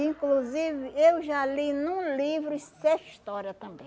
Inclusive, eu já li num livro essa história também.